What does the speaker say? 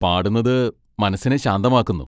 പാടുന്നത് മനസ്സിനെ ശാന്തമാക്കുന്നു.